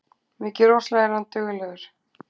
Mikið rosalega er hann duglegur